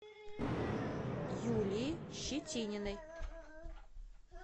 юлии щетининой